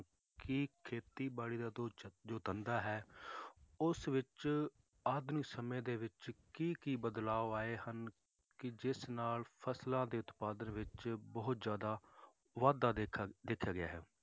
ਕਿ ਖੇਤੀਬਾੜੀ ਦਾ ਜੋ ਚ~ ਜੋ ਧੰਦਾ ਹੈ ਉਸ ਵਿੱਚ ਆਤਮ ਸਮੇਂ ਦੇ ਵਿੱਚ ਕੀ ਕੀ ਬਦਲਾਵ ਆਏ ਹਨ, ਕਿ ਜਿਸ ਨਾਲ ਫਸਲਾਂ ਦੇ ਉਤਪਾਦਨ ਵਿੱਚ ਜ਼ਿਆਦਾ ਦੇਖਣ ਦੇਖਿਆ ਗਿਆ ਹੈ,